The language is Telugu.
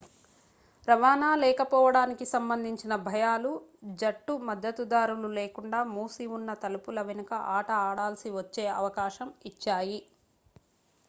రవాణా లేకపోవడానికి సంబంధించిన భయాలు జట్టు మద్దతుదారులు లేకుండా మూసిఉన్న తలుపుల వెనుక ఆట ఆడాల్సి వచ్చే అవకాశం ఇచ్చాయి